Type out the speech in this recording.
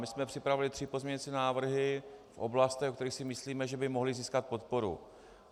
My jsme připravili tři pozměňovací návrhy v oblastech, o kterých si myslíme, že by mohly získat podporu.